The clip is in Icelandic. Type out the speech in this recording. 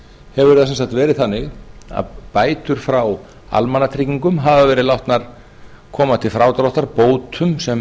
hefur það verið þannig að bætur frá almannatryggingum hafa verið látnar koma til frádráttar bótum sem